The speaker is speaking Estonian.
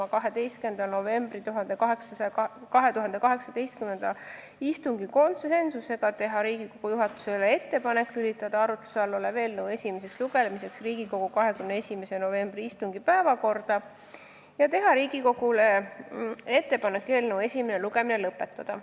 a 12. novembri istungil konsensusega teha Riigikogu juhatusele ettepaneku lülitada arutluse all olev eelnõu esimeseks lugemiseks Riigikogu 21. novembri istungi päevakorda ja teha Riigikogule ettepaneku eelnõu esimene lugemine lõpetada.